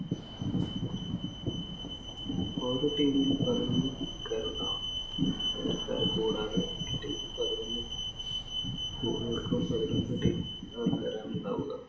ഓരോ team ഇലും പതിനൊന്നു ഉണ്ടാവുക. പകരക്കാരെ കൂടാതെ ഒരു team ഇല്‍ പതിനൊന്നു ഉണ്ടാവുക.